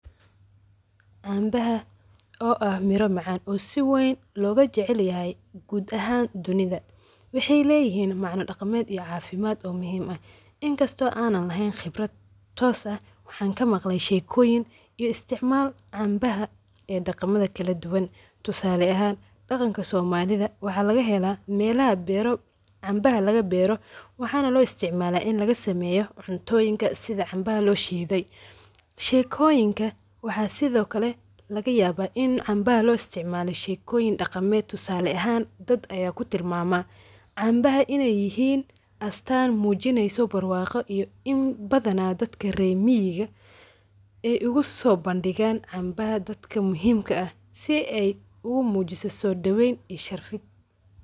Cambaha oo ah mira macaan oo si weyn laga jecelyahay gud ahan dunida. waxay leyihin macna dhaqaamed iyo cafimaad muhim ah inkasto ana leheyn qibrad toos ah waxan kamaqle sheekoyin iyo isticmaal cambaha ee dhaqamoyin kala duban tusale ahan dhaqanka somalida waxa laga helaa melaha beero cambaha laga beero waxana loo isticmaal ini laga sameeyo cuntoyinka sida cambaha loo shiiiday. sheekoyinka waxa sidokale lagayaba in cambaha loo isticmaalo shekoyin dhaqameed tusale ahan dad aya kutilmaama cambaha inay yihin astaan mujineyso barwaaqo iyo in badana dadka rer miyiga ay oguso bandhigan cambaha dadka muhimka ah si ay ugu mujiso soo dhaweyn iyo sharfid